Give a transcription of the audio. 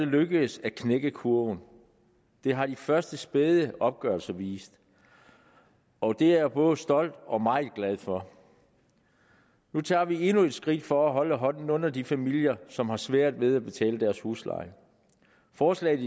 lykkedes at knække kurven det har de første spæde opgørelser vist og det er jeg både stolt af og meget glad for nu tager vi endnu et skridt for at holde hånden under de familier som har svært ved at betale deres husleje forslaget